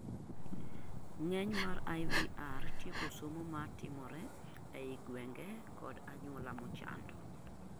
ng'eny mar IVR tieko somo mar timore ei gwenge kod anyuola mochando